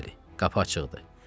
Bəli, qapı açıqdır.